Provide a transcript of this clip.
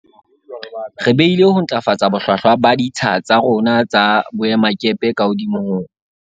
Re behile ho ntlafatsa bohlwahlwa ba ditsha tsa rona tsa boemakepe ka hodimo ho